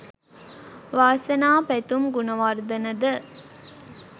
වාසනා පැතුම් ගුණවර්ධන ද